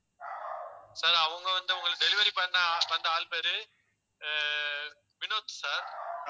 sir அவங்க வந்து, உங்களை delivery பண்ண வந்த ஆள் பேரு ஆஹ் வினோத் sir